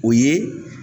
O ye